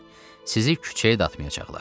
Sizi küçəyə atmayacaqlar.